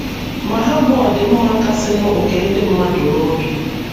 Ma, ha bu ọdịmma kasịnụ nke ndị mmadụ n’obi.